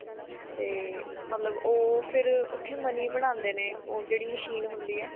ਤੇ ਮਤਲਬ ਉਹ ਫਿਰ ਉੱਥੇ money ਬਣਾਉਂਦੇ ਨੇ ਉਹ ਜਿਹੜੀ machine ਹੁੰਦੀ ਏ